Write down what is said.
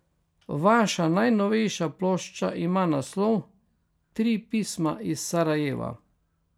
Vaša najnovejša plošča ima naslov Tri pisma iz Sarajeva.